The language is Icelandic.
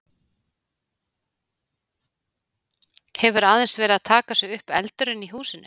Hefur aðeins verið að taka sig upp eldurinn í húsinu?